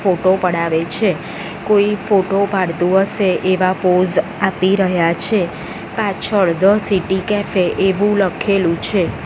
Photo પડાવે છે કોઈ ફોટો પાડતું હશે એવા પોઝ આપી રહ્યા છે પાછળ ધ સિટી કેફે એવું લખેલું છે.